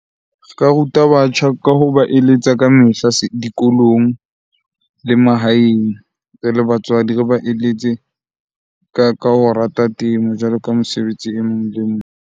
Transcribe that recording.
Re ka ruta batjha ka hoba eletsa ka mehla dikolong le mahaeng, re le batswadi. Re ba eletse ka ho rata temo jwalo ka mosebetsi e mong le e mong.